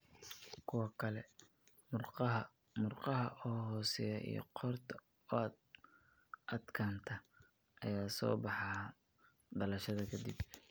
Kuwa kale, murqaha murqaha oo hooseeya iyo qoorta oo adkaanta ayaa soo baxa dhalashada ka dib.